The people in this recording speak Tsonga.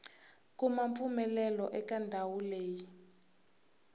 kuma mpfumelelo eka ndhawu leyi